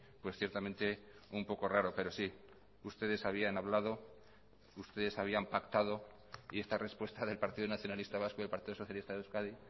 pues ciertamente un poco raro pero sí ustedes habían hablado ustedes habían pactado y esta respuesta del partido nacionalista vasco y el partido socialista de euskadi